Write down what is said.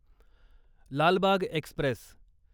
Lal Bagh Express